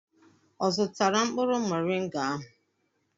Ọ zụtara mkpụrụ mọrịnga ahụ?